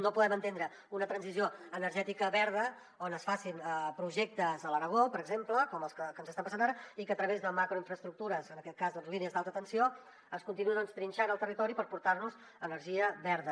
no podem entendre una transició energètica verda on es facin projectes a l’aragó per exemple com està passant ara i que a través de macroinfraestructures en aquest cas doncs línies d’alta tensió es continuï trinxant el territori per portar nos energia verda